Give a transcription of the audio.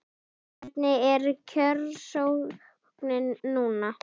Hvernig er kjörsóknin núna?